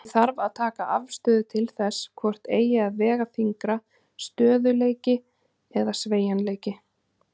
Því þarf að taka afstöðu til þess hvort eigi að vega þyngra, stöðugleiki eða sveigjanleiki.